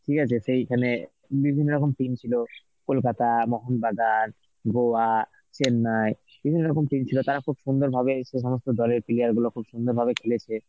ঠিক আছে, সেইখানে বিভিন্ন রকম team ছিল কলকাতা, মোহনবাগান, গোয়া, চেন্নাই বিভিন্ন রকম team ছিল তারা খুব সুন্দরভাবে সে সমস্ত দলের player গুলো খুব সুন্দর ভাবে খেলেছে.